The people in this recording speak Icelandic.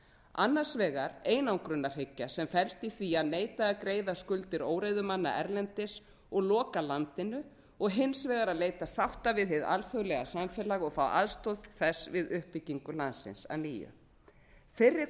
annars vegar einangrunarhyggja sem felst í því að neita að greiða skuldir óreiðumanna erlendis og loka landinu og hins vegar að leita sátta við hið alþjóðlega samfélag og fá aðstoð þess við uppbyggingu landsins að nýju fyrri